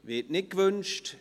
– Es wird nicht gewünscht.